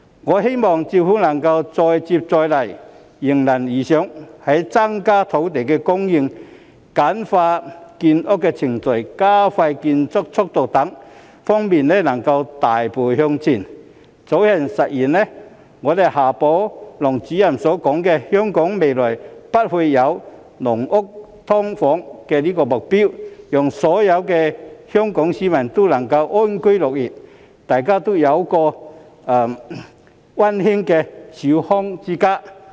我希望政府能夠再接再厲，迎難而上，在增加土地供應、簡化建屋程序、加快建屋速度等方面能夠大步向前，以早日實現夏寶龍主任所說的香港未來不會再有"籠屋"、"劏房"的目標，讓所有的香港市民都能安居樂業，大家都有溫馨的小康之家。